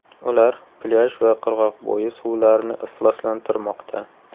Ular plyaj va qirg‘oqbo‘yi suvlarini ifloslantirmoqda.